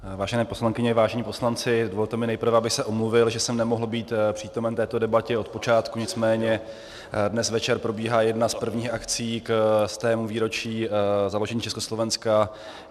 Vážené poslankyně, vážení poslanci, dovolte mi nejprve, abych se omluvil, že jsem nemohl být přítomen této debatě od počátku, nicméně dnes večer probíhá jedna z prvních akcí ke stému výročí založení Československa.